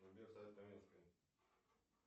сбер сайт каменская